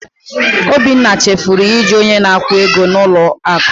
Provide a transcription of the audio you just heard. Obinna chefuru iju onye na-akwụ ego n'ụlọ akụ.